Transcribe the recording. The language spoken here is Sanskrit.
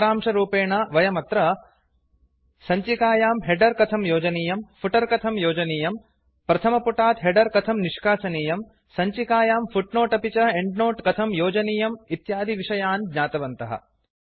सारांशरूपेण वयमत्र सञ्चिकायां हेडर् कथ योजनीयम् फुटर् कथं योजनीयम् प्रथमपुटात् हेडर् कथं निष्कासनीयम् सञ्चिकायां फुट्नोट् अपि च एंड्नोट् कथं योजनीयं इत्यादिविषयान् ज्ञातवन्तः